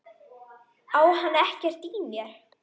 Á hann ekkert í mér?